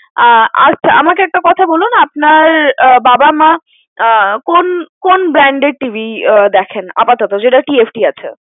আহ আচ্ছা আমাকে একটা কথা বলুন, আপনার আহ বাবা মা, কোন কোন brand এর TV দেখেন আপাতত, যেটা TFT আছে?